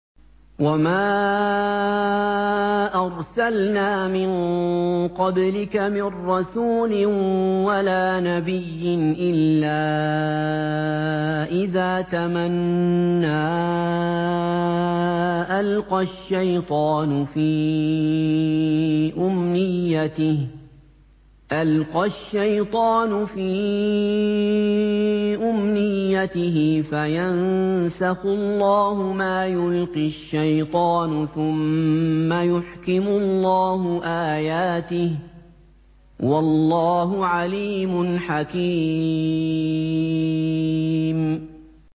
وَمَا أَرْسَلْنَا مِن قَبْلِكَ مِن رَّسُولٍ وَلَا نَبِيٍّ إِلَّا إِذَا تَمَنَّىٰ أَلْقَى الشَّيْطَانُ فِي أُمْنِيَّتِهِ فَيَنسَخُ اللَّهُ مَا يُلْقِي الشَّيْطَانُ ثُمَّ يُحْكِمُ اللَّهُ آيَاتِهِ ۗ وَاللَّهُ عَلِيمٌ حَكِيمٌ